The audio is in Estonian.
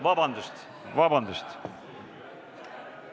Vabandust, vabandust!